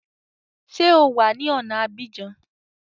Ṣé o wà ní ọ̀na Abidjan?